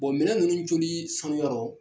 Bon minɛn ninnu coli sanuyarɔ